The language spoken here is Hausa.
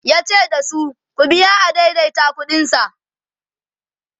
yace dasu "ku biya adaidaita ƙuɗin sa"